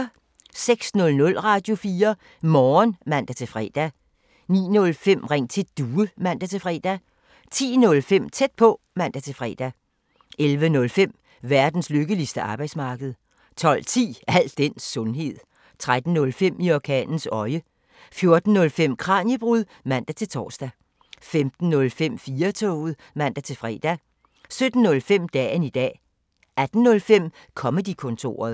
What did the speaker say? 06:00: Radio4 Morgen (man-fre) 09:05: Ring til Due (man-fre) 10:05: Tæt på (man-fre) 11:05: Verdens lykkeligste arbejdsmarked 12:10: Al den sundhed 13:05: I orkanens øje 14:05: Kraniebrud (man-tor) 15:05: 4-toget (man-fre) 17:05: Dagen i dag 18:05: Comedy-kontoret